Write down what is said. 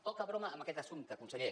poca broma amb aquest assumpte conseller